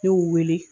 Ne y'u wele